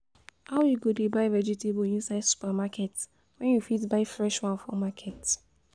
How you go dey buy vegetable inside supermarket when you fit buy fresh one for market?